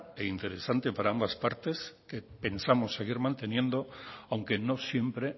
e interesante para ambas partes que pensamos seguir manteniendo aunque no siempre